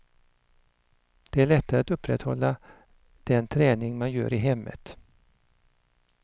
Det är lättare att upprätthålla den träning man gör i hemmet.